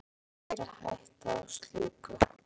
Því eldri sem lögin eru, er meiri hætta á slíku.